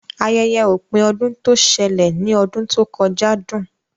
Ayẹyẹ ọ̀pin ọdún tó ṣẹlẹ̀ ní ọdún tó kọjá dùn